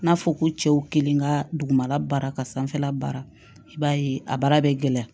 N'a fɔ ko cɛw kelen ka dugumala baara ka sanfɛla baara i b'a ye a baara bɛ gɛlɛya